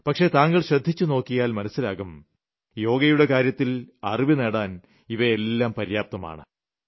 പക്ഷേ താങ്കൾക്ക് ശ്രദ്ധിച്ച് നോക്കിയാൽ മനസ്സിലാകും യോഗയുടെ കാര്യത്തിൽ അറിവ് നേടാൻ ഇവയെല്ലാം പര്യാപ്തമാണ്